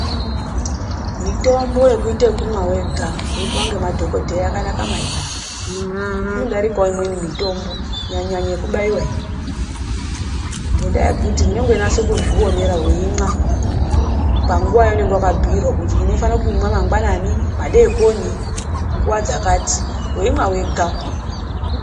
Mitombo yekuita yekumwa wega weipuwa nemadhokoteya yakanaka maningi. Inodarikawo imweni mitombo kunyanyanya yekubaiwa iyi. Ngendaa yekuti unenge uchizvionera weimwa panguva yaunenge wakabhirwa kuti unoda kumwa mangwana madekoni kana munguva dzakati weimwa wega.